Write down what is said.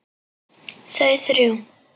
Þau þrjú.